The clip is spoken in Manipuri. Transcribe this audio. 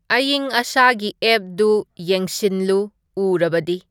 ꯑꯏꯪ ꯑꯁꯥꯒꯤ ꯑꯦꯞꯗꯨ ꯌꯦꯡꯁꯤꯟꯂꯨ ꯎꯔꯕꯗꯤ